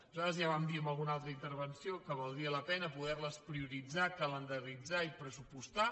nosaltres ja vam dir en alguna altra intervenció que valdria la pena poder les prioritzar calendaritzar i pressupostar